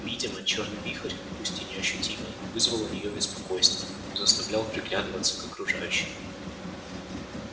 видимо чёрный вихрь пусть и неощутимый вызывал у неё беспокойство заставлял приглядываться к окружающим